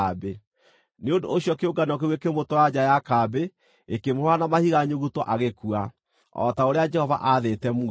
Nĩ ũndũ ũcio kĩũngano kĩu gĩkĩmũtwara nja ya kambĩ gĩkĩmũhũũra na mahiga nyuguto agĩkua, o ta ũrĩa Jehova aathĩte Musa.